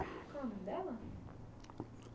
Qual o nome dela?